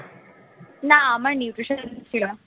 না আমার nutrition ছিল না